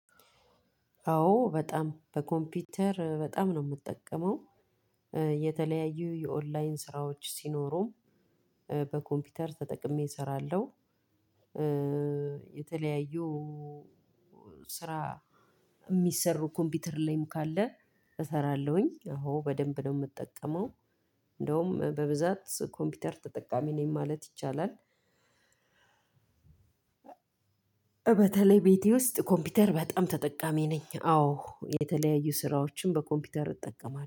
አዎ በጣም በኮምፒውተር በጣም ነው የምጠቀመው። የተለያዩ የኦንላይን ስራዎች ሲኖሩ በኮምፒውተር ተጠቅሜ እሰራለሁ። የተለያዩ ስራ የሚሰሩ ኮምፒውተር ላይም ካለ እሰራለሁኝ አዎ በደንብ ነው የምጠቀመው። እንደውም በብዛት ኮምፒውተር ተጠቃሚ ነኝ ማለት ይቻላል። በተለይ ቤቴ ውስጥ ኮምፒውተር በጣም ተጠቃሚ ነኝ። አዎ የተለያዩ ስራዎችን በኮምፒውተር እጠቀማ